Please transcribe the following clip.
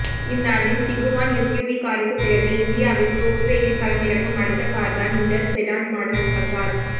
இந்தாண்டில் Tiguan SUV காருக்கு பிறகு இந்தியாவில் ஃபோக்ஸ்வேகன் களமிறக்கும் அடுத்த கார் தான் இந்த செடான் மாடல் பஸாத்